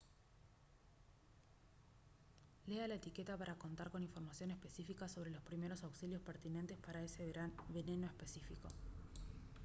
lea la etiqueta para contar con información específica sobre los primeros auxilios pertinentes para ese veneno específico